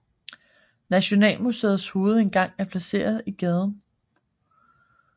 Nationalmuseets hovedindgang er placeret i gaden